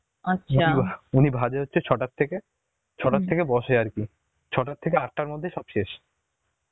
উনি বসে হচ্ছে ছটা থেকে, ছটা থেকে বসে আরকি ছটা থেকে আটটার মধ্যে সব শেষ